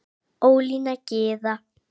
Ólína Gyða.